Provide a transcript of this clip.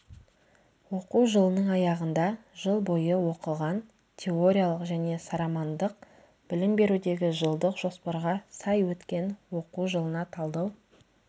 оқу жылының аяғында жыл бойы оқылған теориялық және сарамандық білім берудегі жылдық жоспарға сай өткен оқу жылына талдау